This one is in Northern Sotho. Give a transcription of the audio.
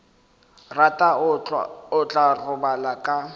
rata o tla robala ka